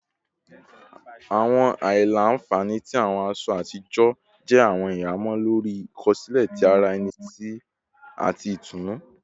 Awọn aila-nfani ti awọn aṣọ atijọ jẹ awọn ihamọ lori ikosile ti ara ẹni ati itunu